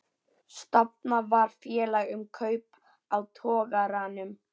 Stofnað var félag um kaup á togaranum